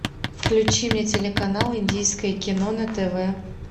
включи мне телеканал индийское кино на тв